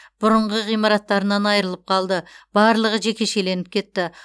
бұрынғы ғимараттарынан айрылып қалды барлығы жекешеленіп кетті